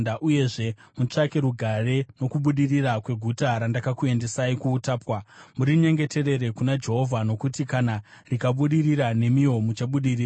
Uyezve, mutsvake rugare nokubudirira kweguta randakakuendesai kuutapwa. Murinyengeterere kuna Jehovha, nokuti kana rikabudirira, nemiwo muchabudirira.”